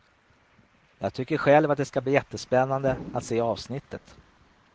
Jag tycker själv att det ska bli jättespännande att se avsnittet.